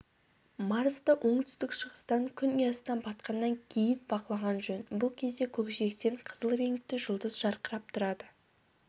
марсты оңтүстік-шығыстан күн ұясына батқаннан кейін бақылаған жөн бұл кезде көкжиектен қызыл реңкті жұлдыз жарқырап тұрады